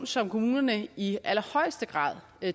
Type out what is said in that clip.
som kommunerne i allerhøjeste grad